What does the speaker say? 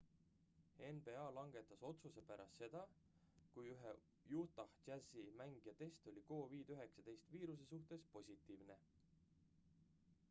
nba langetas otsuse pärast seda kui ühe utah jazzi mängija test oli covid-19 viiruse suhtes positiivne